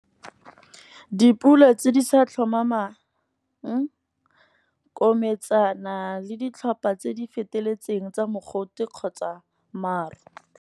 Dipula tse di sa tlhomamang kometsana le ditlhopa tse di feteletseng tsa mogote kgotsa maru.